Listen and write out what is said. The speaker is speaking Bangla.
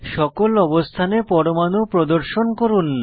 সকল অবস্থানে পরমাণু প্রদর্শন করুন